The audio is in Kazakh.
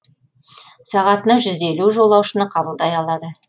сағатына жүз елу жолаушыны қабылдай алады